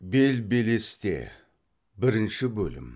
бел белесте бірінші бөлім